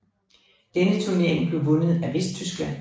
Denne turnering blev vundet af Vesttyskland